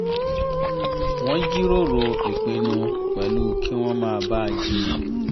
wọ́n jíròrò ìpinnu pẹ̀lú kí wọn má bà á jiyàn